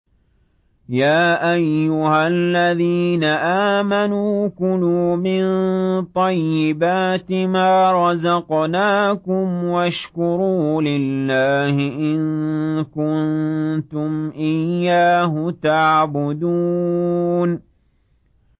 يَا أَيُّهَا الَّذِينَ آمَنُوا كُلُوا مِن طَيِّبَاتِ مَا رَزَقْنَاكُمْ وَاشْكُرُوا لِلَّهِ إِن كُنتُمْ إِيَّاهُ تَعْبُدُونَ